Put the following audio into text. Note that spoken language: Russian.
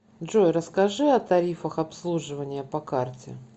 джой расскажи о тарифах обслуживания по карте